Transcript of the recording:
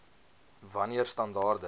wan neer standaarde